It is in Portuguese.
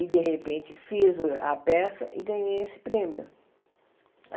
e, de repente, fiz a peça e ganhei esse prêmio.